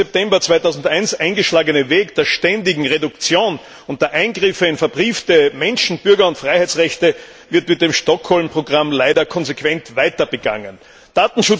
11. September 2001 eingeschlagene Weg der ständigen Reduktion und der Eingriffe in verbriefte Menschen Bürger und Freiheitsrechte mit dem Stockholm Programm leider konsequent weiter begangen wird.